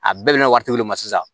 A bɛɛ bɛ na waritigi de ma sisan